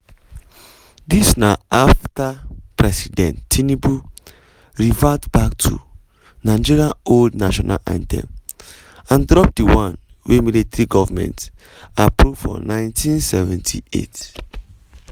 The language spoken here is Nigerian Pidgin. dis na afta president tinubu revert back to nigeria old national anthem and drop di one wey military goment approve for 1978.